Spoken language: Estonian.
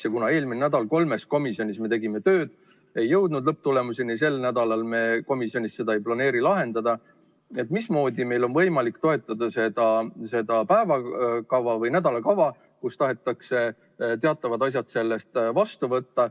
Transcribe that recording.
Ja kuna me eelmine nädal kolmes komisjonis tegime tööd, ei jõudnud lõpptulemuseni, ja sel nädalal me komisjonis seda ei planeeri lahendada, siis mismoodi meil on võimalik toetada seda nädalakava, kus tahetakse teatavad asjad vastu võtta?